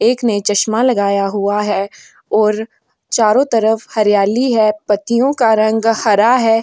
एक ने चश्मा लगाया हुआ है और चारों तरफ हरियाली है पत्तियों का रंग हरा है।